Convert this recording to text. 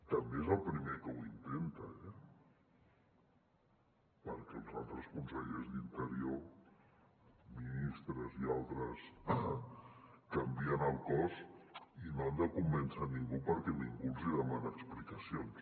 també és el primer que ho intenta eh perquè els altres consellers d’interior ministres i altres canvien el cos i no han de convèncer ningú perquè ningú els hi demana explicacions